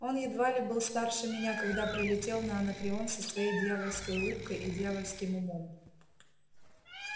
он едва ли был старше меня когда прилетел на анакреон со своей дьявольской улыбкой и дьявольским умом